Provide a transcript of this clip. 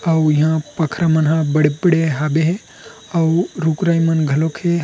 अऊ इहा पखरई मन हा बड़े-बड़े हाबे अऊ रुखराई मन घलोके--